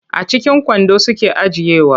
A cikin kwando suke ajiyewa.